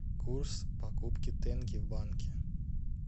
курс покупки тенге в банке